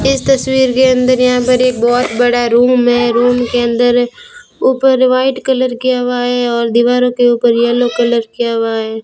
इस तस्वीर के अंदर यहां पर एक बहोत बड़ा रूम है रूम के अंदर ऊपर व्हाइट कलर किया हुआ है और दीवारों के ऊपर येलो कलर किया हुआ है।